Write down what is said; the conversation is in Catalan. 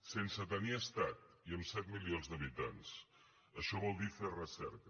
sense tenir estat i amb set milions d’habitants això vol dir fer recerca